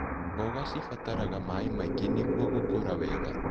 Mboga cibataraga maĩ maingĩ nĩguo gũkũra wega.